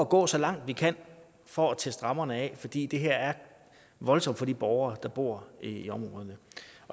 gå så langt vi kan for at teste rammerne af fordi det her er voldsomt for de borgere der bor i områderne